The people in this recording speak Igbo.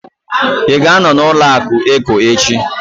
Ị ga-anọ na ụlọaku Eco echi?